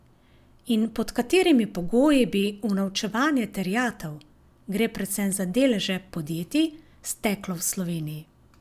In pod katerimi pogoji bi unovčevanje terjatev, gre predvsem za deleže podjetij, steklo v Sloveniji?